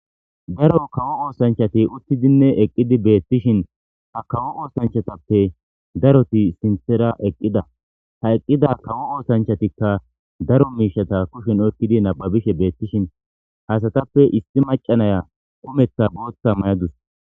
Daro kawo oosanchati uttidinne eqqidi beettishin ha kawo oosanchatappe daroti sinthera eqqida ha eqqida kawo oosanchatikka daro miishata kushin okkidi nababishe beettishin hasatappe issi macanaya qumetha booththa mayadus.